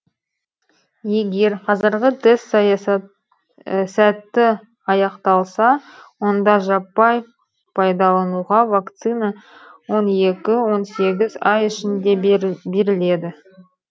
егер қазіргі тест сәтті аяқталса онда жаппай пайдалануға вакцина он екі он сегіз ай ішінде беріледі